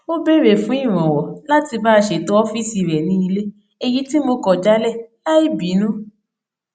ó béèrè fún ìrànwọ láti bá a ṣètọ ófíìsì rẹ ní ilé èyí tí mo kò jálè láì bínú